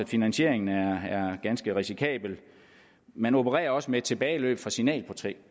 finansieringen er ganske risikabel man opererer også med tilbageløb fra signalprojektet